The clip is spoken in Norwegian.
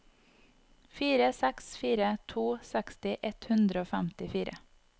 fire seks fire to seksti ett hundre og femtifire